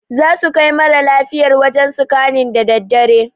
Zasu kai mara lafiyar wajen sikannin daa daddare